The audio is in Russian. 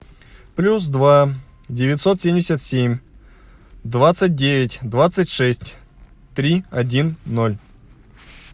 плюс два девятьсот семьдесят семь двадцать девять двадцать шесть три один ноль